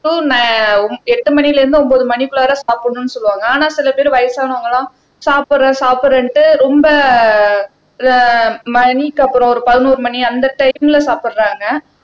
எட்டு மணியில இருந்து ஒன்பது மணிக்குள்ளாற சாப்பிடணும்னு சொல்லுவாங்க ஆனா சில பேர் வயசானவங்க எல்லாம் சாப்பிடுறேன் சாப்பிடுறேன்னுட்டு ரொம்ப ஆஹ் மணிக்கு அப்புறம் ஒரு பதினோரு மணி அந்த டைம்ல சாப்பிடுறாங்க